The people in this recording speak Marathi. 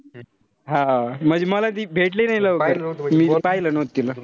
हा म्हणजे मला ती भेटली नाई लवकर. पाहिलं नव्हतं तिला.